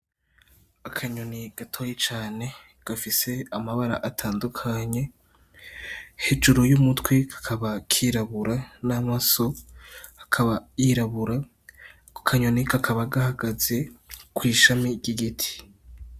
Akanyoni gatoyi cane, gafise amabara atandukanye, hejuru y'umutwe kakaba kirabura n'amaso akaba yirabura, ako kanyoni kakaba gahagaze kw'ishami ry'igiti.